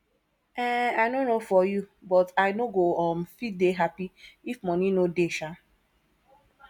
um i no know for you but i no go um fit dey happy if money no dey um